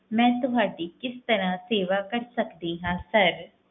ਮੈਂ ਤੁਹਾਡੀ ਕਿਸ ਤਰ੍ਹਾਂ ਸੇਵਾ ਕਰ ਸਕਦੀ ਹਾਂ sir